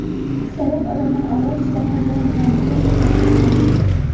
Aksariyat odamlar olov ichida qolgan binoni tezda tark etgan.